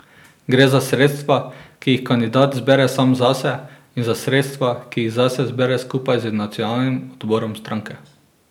Gre za sredstva, ki jih kandidat zbere sam zase, in za sredstva, ki jih zase zbere skupaj z nacionalnim odborom stranke.